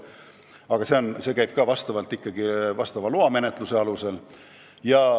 Aga see käib ikkagi asjaomase loamenetluse teel.